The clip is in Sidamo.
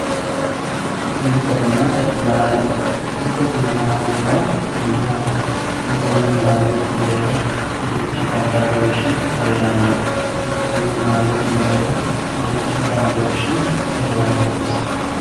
muronna laalo muronna laalo yaa mayyate? muronna laalote mereero marichi babbadooshshi heeranno muronna laalote mereero marichi xaadooshshi heeranonsa?